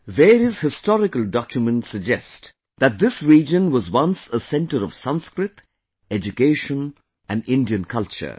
Various historical documents suggest that this region was once a centre of Sanskrit, education and Indian culture